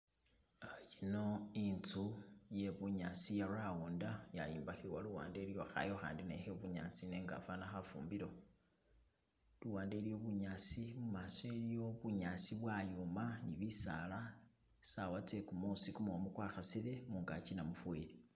Uh yino inzu iye bunyaasi iye rounda yayimbakhibwa luwande iliyo khaayu akhandi ne khe bunyaasi nenga afana khafumbiro , luwande iliyo bunyaasi mumaaso iliyo bunyaasi bwayoma ni bisaala sawa tse kumuusi kumumu kwa khasile mungaki namufeli.